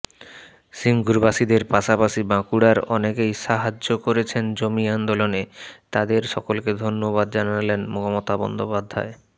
সিঙ্গুরবাসীদের পাশাপাশি বাঁকুড়ার অনেকেই সাহায্য করেছেন জমি আন্দোলনে তাঁদের সকলকে ধন্যবাদ জানালেন মমতা বন্দ্যোপাধ্যায়